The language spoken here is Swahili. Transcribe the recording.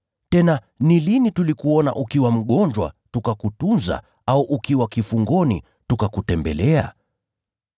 Tena ni lini tulikuona ukiwa mgonjwa tukakutunza, au ukiwa kifungoni tukakutembelea?’